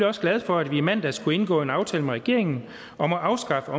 også glad for at vi i mandags kunne indgå en aftale med regeringen om at afskaffe